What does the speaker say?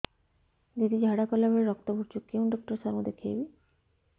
ଦିଦି ଝାଡ଼ା କଲା ବେଳେ ରକ୍ତ ପଡୁଛି କଉଁ ଡକ୍ଟର ସାର କୁ ଦଖାଇବି